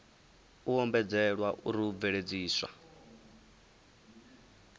u ombedzelwa uri u bveledziswa